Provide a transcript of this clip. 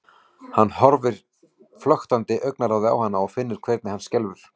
Hann horfir flöktandi augnaráði á hana og finnur hvernig hann skelfur.